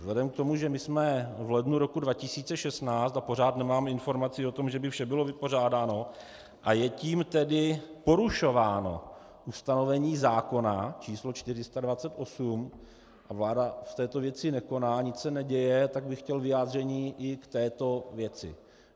Vzhledem k tomu, že my jsme v lednu roku 2016 a pořád nemáme informaci o tom, že by vše bylo vypořádáno, a je tím tedy porušováno ustanovení zákona číslo 428 a vláda v této věci nekoná, nic se neděje, tak bych chtěl vyjádření i k této věci.